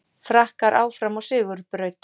Frakkar áfram á sigurbraut